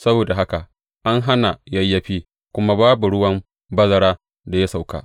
Saboda haka an hana yayyafi, kuma babu ruwan bazara da ya sauka.